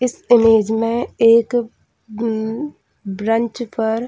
इस इमेज में एक ब्रंच पर --